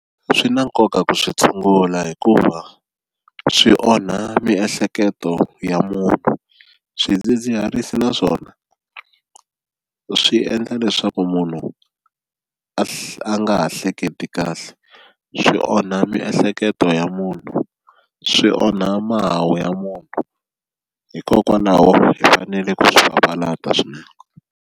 Swi na nkoka ku swi tshungula hikuva swi onha miehleketo ya munhu swidzidziharisi naswona swi endla leswaku munhu a nga ha hleketi kahle swi onha miehleketo ya munhu swi onha mahawu ya munhu hikokwalaho hi fanele ku swi papalata swinene.